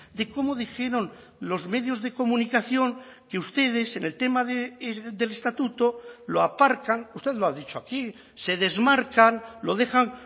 de cómo dijeron los medios de comunicación que ustedes en el tema del estatuto lo aparcan usted lo ha dicho aquí se desmarcan lo dejan